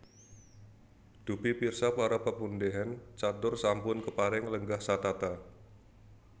Dupi pirsa para pepundhen catur sampun kepareng lenggah satata